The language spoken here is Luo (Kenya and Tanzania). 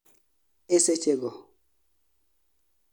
e sechego